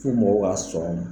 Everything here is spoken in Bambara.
Fo mɔgɔw k'a sɔn o ma.